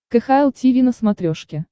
кхл тиви на смотрешке